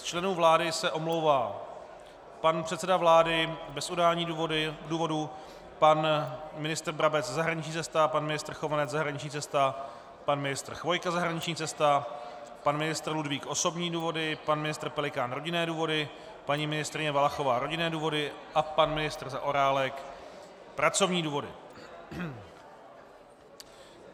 Z členů vlády se omlouvá pan předseda vlády bez udání důvodu, pan ministr Brabec - zahraniční cesta, pan ministr Chovanec - zahraniční cesta, pan ministr Chvojka - zahraniční cesta, pan ministr Ludvík - osobní důvody, pan ministr Pelikán - rodinné důvody, paní ministryně Valachová - rodinné důvody a pan ministr Zaorálek - pracovní důvody.